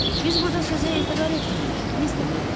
Biz burda sözə etibar etmirik Mister Makmerdo.